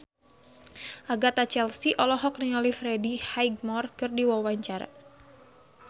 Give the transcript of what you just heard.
Agatha Chelsea olohok ningali Freddie Highmore keur diwawancara